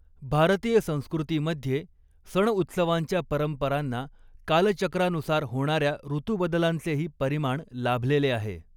भारतीय संस्कॄतीमध्ये सणउत्सवांच्या परंपरांना कालचक्रानुसार होणाऱ्या ऋतुबदलांचेही परिमाण लाभलेले आहे.